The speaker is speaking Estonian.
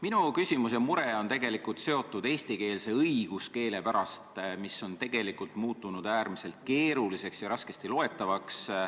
Minu küsimus ja mure on seotud eesti õiguskeelega, mis on tegelikult muutunud äärmiselt keeruliseks ja raskesti loetavaks.